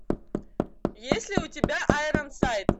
есть ли у тебя айронсайд